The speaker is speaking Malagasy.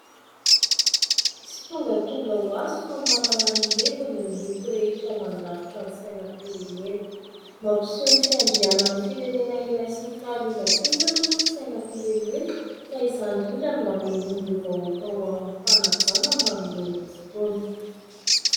Tsy tongatonga ho azy fa manana ny heviny ny loko rehetra mandrafitra ny sainam-pirenena. Mampiseho ny fiandrianan'ny firenena iray sy ny fahaleovantenany moa ny sainam-pirenena; ka izany indrindra no hanehoan'ireo vahoaka ao aminy fanajana manoloana azy itony.